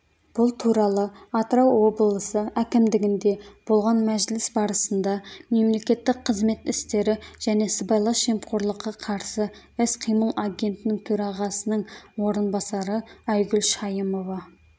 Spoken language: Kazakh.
бұл туралы атырау облысы әкімдігінде болған мәжіліс барысында мемлекеттік қызмет істері және сыбайлас жемқорлыққа қарсы іс-қимыл агенттігінің төрағасының орынбасары айгүл шайымова